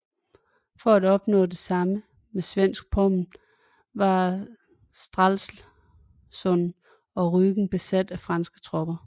For at opnå det samme med svensk Pommern var Stralsund og Rügen besat af franske tropper